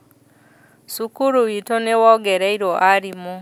Cukuru witũ nĩwongereirwo arimũ